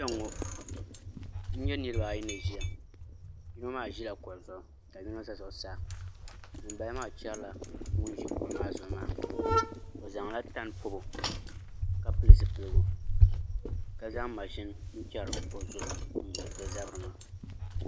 Kpɛŋŋo n nyɛ niraba ayi ni ʒiya yino maa ʒila kuɣu zuɣu ka yino ʒɛ zuɣusaa ŋunbala maa chɛrila ŋun ʒi kuɣu maa zuɣu maa o zaŋla tani pobo ka pili zipiligu ka zaŋ mashini n chɛri o zabiri maa